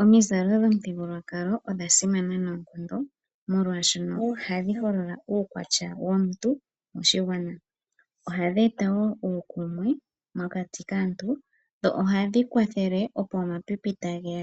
Omizalo dhomothigululwakalo odhasimana noonkondo molwaashono ohadhi holola uukwatya womuntu moshigwana. Ohadhi eta wo uukumwe mokati kaantu . Dho ohadhi kwathele opo omapipi tageya